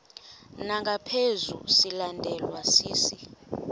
ngaphezu silandelwa sisi